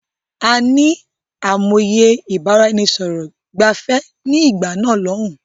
A ní àìmọye ìbáraẹnisọọ̀rọ̀ gbẹ̀fẹ̀ ni ìgbà náà lòun.